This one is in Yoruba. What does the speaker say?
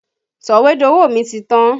Sọ̀wédowó mi ti tán